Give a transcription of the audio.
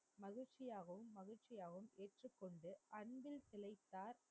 மகிழ்ச்சியாகவும் மகிழ்ச்சியாவாகும் ஏற்றுக்கொண்டு அன்பில் தில்லைத்தார்